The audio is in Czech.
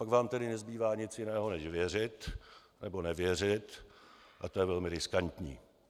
Pak vám tedy nezbývá nic jiného než věřit nebo nevěřit a to je velmi riskantní.